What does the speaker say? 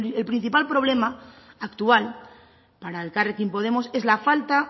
el principal problema actual para elkarrekin podemos es la falta